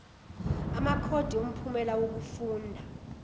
amakhodi omphumela wokufunda